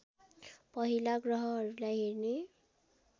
पहिला ग्रहहरूलाई हेर्ने